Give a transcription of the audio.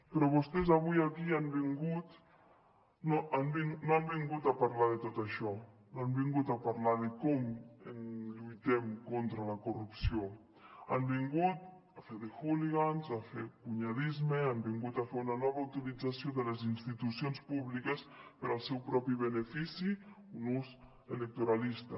però vostès avui aquí no han vingut a parlar de tot això no han vingut a parlar de com lluitem contra la corrupció han vingut a fer de hooligans a fer cunyadisme han vingut a fer una nova utilització de les institucions públiques per al seu propi benefici un ús electoralista